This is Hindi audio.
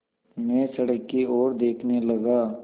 मैं सड़क की ओर देखने लगा